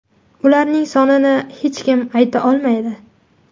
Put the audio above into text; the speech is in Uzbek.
Ularning sonini hech kim ayta olmaydi.